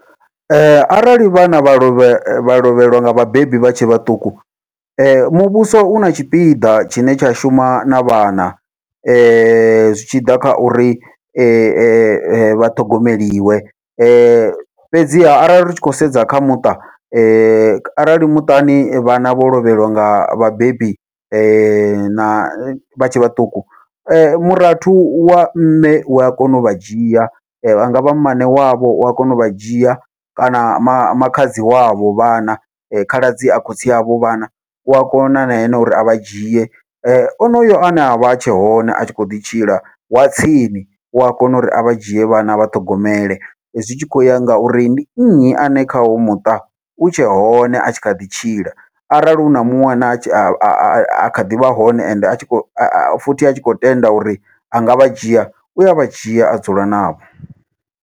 Arali vhana vha lovhe vha lovhelwa nga vhabebi vha tshe vhaṱuku, muvhuso u na tshipiḓa tshine tsha shuma na vhana zwi tshi ḓa kha uri vha ṱhogomeliwe fhedziha arali ri tshi khou sedza kha muṱa arali muṱani vhana vho lovhelwa nga vhabebi na vha tshe vhaṱuku, murathu wa mme u wa kona uvha dzhia vha ngavha mmane wavho ua kona uvha dzhia kana makhadzi wavho vhana khaladzi a khotsi avho vhana, ua kona na ene uri avha dzhie. Onoyo ane avha a tshe hone a tshi kho ḓi tshila wa tsini ua kona uri avha dzhie vhana avha ṱhogomele, zwi tshi kho uya ngauri ndi nnyi ane kha hoyu muṱa u tshe hone a tshi kha ḓi tshila arali huna muṅwe ane a kha ḓivha hone ende a tshi kho futhi atshi kho tenda uri angavha dzhia ua vha dzhia a dzula navho.